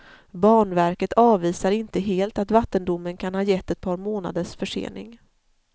Banverket avvisar inte helt att vattendomen kan ha gett ett par månaders försening.